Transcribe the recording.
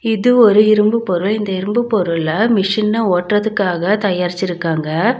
இது ஒரு இரும்பு பொருள் இந்த இரும்பு பொருள மிஷின ஓட்றதுக்காக தயாரிச்சிருக்காங்க.